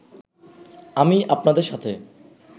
আমি আপনাদের সাথে